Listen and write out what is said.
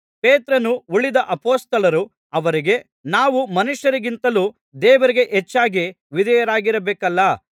ಪೇತ್ರನೂ ಉಳಿದ ಅಪೊಸ್ತಲರೂ ಅವರಿಗೆ ನಾವು ಮನುಷ್ಯರಿಗಿಂತಲೂ ದೇವರಿಗೆ ಹೆಚ್ಚಾಗಿ ವಿಧೇಯರಾಗಿರಬೇಕಲ್ಲಾ